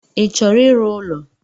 I chọrọ ịrụ ụlọ.